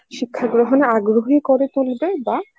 শিক্ষা গ্রহণে আগ্রহী করে তুলবে বা